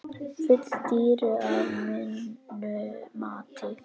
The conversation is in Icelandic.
Full dýru að mínu mati.